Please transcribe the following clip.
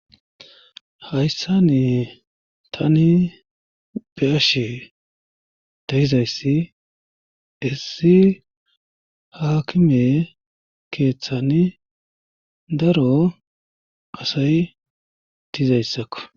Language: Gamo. hayssani tani beashe daizayssi issi haakime keeththani daro asay dizayssakko